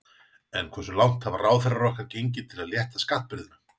En hversu langt hafa ráðherrar okkar gengið til að létta skattabyrðina?